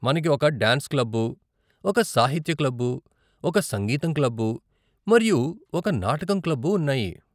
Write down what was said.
మనకి ఒక dance club, ఒక సాహిత్య క్లబ్బు, ఒక సంగీతం క్లబ్బు, మరియు ఒక నాటకం క్లబ్బు ఉన్నాయి.